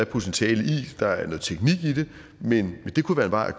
potentiale i der er noget teknik i det men det kunne være en vej at